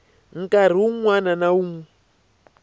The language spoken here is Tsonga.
nkarhi wun wana na wun